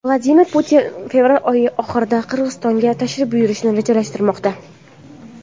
Vladimir Putin fevral oyi oxirida Qirg‘izistonga tashrif buyurishni rejalashtirmoqda.